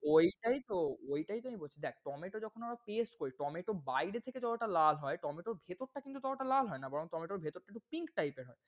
ওইটায় তো ওইটায় তো আমি বলছি। দেখ tomato যখন আমরা paste করি tomato বাইরে থেকে যতোটা লাল হয় tomato ভেতর টা কিন্তু ততটা লাল হয় না বরং tomato এর ভেতর টা pink type এর হয়।